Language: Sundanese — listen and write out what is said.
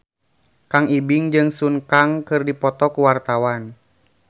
Kang Ibing jeung Sun Kang keur dipoto ku wartawan